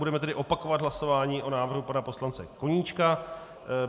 Budeme tedy opakovat hlasování o návrhu pana poslance Koníčka.